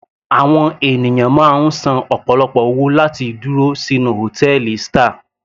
Àwọn ènìyàn máa ń san ọ̀pọ̀lọpọ̀ owó láti dúró sínú hòtẹ́ẹ̀lì star.